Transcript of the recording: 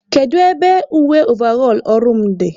Kedu ebe uwe ovarọl ọrụ m dị?